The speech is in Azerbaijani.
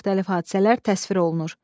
Müxtəlif hadisələr təsvir olunur.